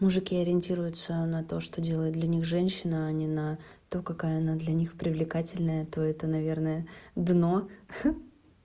мужики ориентируются на то что делает для них женщина а не на то какая она для них привлекательная то это наверное дно ха